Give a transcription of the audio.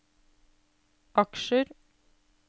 aksjer